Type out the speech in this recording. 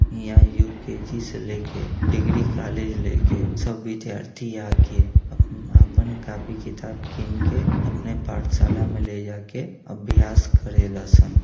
ईहा यू.के.जी. से लेके डिग्री कॉलेज लेके सब विद्यार्थी आके आपन कॉपी किताब किन के अपने पाठशाला में ले जा के अभ्यास करे ल सन।